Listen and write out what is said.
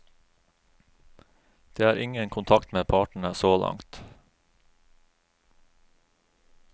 Det er ingen kontakt med partene så langt.